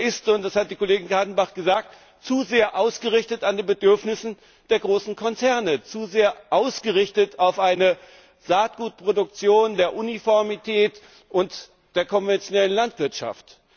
Er ist das hat die Kollegin Kadenbach gesagt zu sehr ausgerichtet an den Bedürfnissen der großen Konzerne, zu sehr ausgerichtet auf eine Saatgutproduktion der Uniformität und der konventionellen Landwirtschaft.